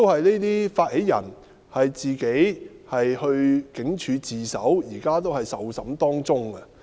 這些發起人亦自行到警署自首，現時仍接受調查。